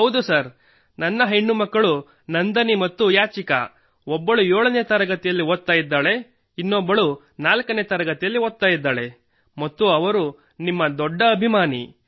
ಹೌದು ಸರ್ ನನ್ನ ಹೆಣ್ಣುಮಕ್ಕಳು ನಂದನಿ ಮತ್ತು ಯಾಚಿಕಾ ಒಬ್ಬಳು 7 ನೇ ತರಗತಿಯಲ್ಲಿ ಓದುತ್ತಿದ್ದಾಳೆ ಒಬ್ಬಳು 4 ನೇ ತರಗತಿಯಲ್ಲಿ ಓದುತ್ತಿದ್ದಾಳೆ ಮತ್ತು ಅವಳು ನಿಮ್ಮ ದೊಡ್ಡ ಅಭಿಮಾನಿ